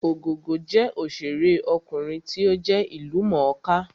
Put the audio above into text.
Ògògó jẹ́ òṣèré ọkùnrin tí ó jẹ́ ìlú mọ̀ọ́ kà